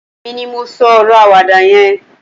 èmi ni mo so oro awada yen